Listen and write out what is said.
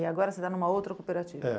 E agora você está em uma outra cooperativa? É